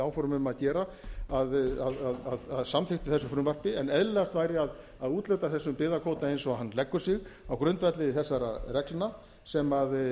hefði áform um að gera að samþykkt þessu frumvarpi en eðlilegast væri að úthluta þessum byggðakvóta eins og hann leggur sig á grundvelli þessara reglna sem